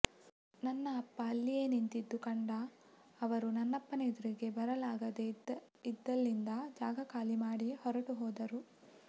ನನ್ನ ಅಪ್ಪ ಅಲ್ಲಿಯೇ ನಿಂತಿದ್ದು ಕಂಡ ಅವರು ನನ್ನಪ್ಪನ ಎದುರಿಗೆ ಬರಲಾಗದೇ ಇದ್ದಲ್ಲಿಂದ ಜಾಗ ಖಾಲಿ ಮಾಡಿ ಹೊರಟು ಹೋದರು